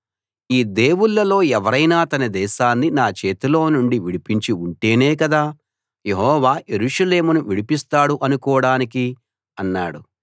ఈ దేవుళ్ళలో ఎవరైనా తన దేశాన్ని నా చేతిలో నుండి విడిపించి ఉంటేనే కదా యెహోవా యెరూషలేమును విడిపిస్తాడు అనుకోడానికి అన్నాడు